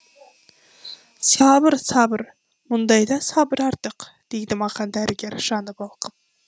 сабыр сабыр мұндайда сабыр артық дейді маған дәрігер жаны балқып